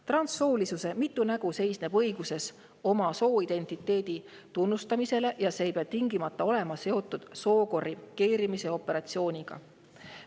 Transsoolisuse mitu nägu seisneb õiguses oma sooidentiteedi tunnustamisele ja see ei pea tingimata olema seotud sookorrigeerimise operatsiooniga."